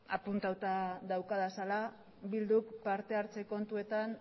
apuntatuta daukadala bilduk partehartze kontuetan